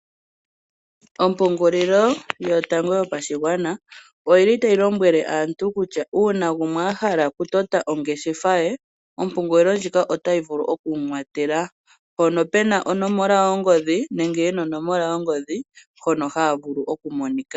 Ompungulilo yo tango yo pashigwana oyili tayi lombwele aantu kutya uuna gumwe a hala oku tota ongeshefa ye, omoungulilo ndjika otayi vulu oku mu watela, mpono puna onomola yongodhi nenge yena onomola yongodhi hono haya vulu oku monika.